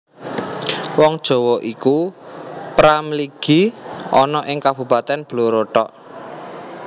Wong Jawa iku pra mligi ana ing Kabupatèn Blora thok